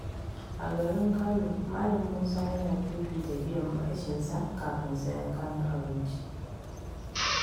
A garin Kano, Malam Musa yana fifita biyan bashinsa kafin sayen kayan abinci.